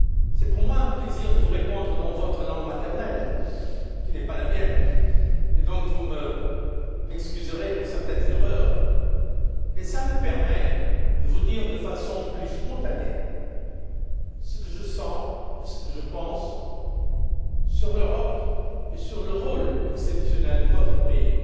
C'est pour moi un plaisir de vous répondre dans votre langue maternelle, qui n'est pas la mienne, et donc vous m'excuserez pour certaines erreurs, mais cela me permet de vous dire de façon plus spontanée ce que je sens et ce que je pense sur l'Europe et sur le rôle exceptionnel de votre pays